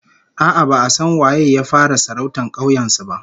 A'a, ba'a san waye ya fara sarautar kauyen su ba